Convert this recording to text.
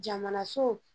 Jamana so